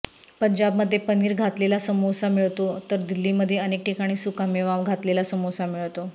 पंजाबमध्ये पनीर घातलेला समोसा मिळतो तर दिल्लीमध्ये अनेक ठिकाणी सुका मेवा घातलेला समोसा मिळतो